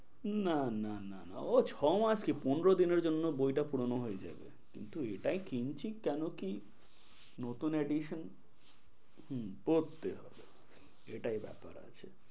না না না ও ছ মাস কি পনেরো দিনের জন্য বইটা পুরনো হয়ে যাবে কিন্তু এইটাই কিনছি কেন কি নতুন addision হম পড়তে হবে এটাই ব্যাপার আছে।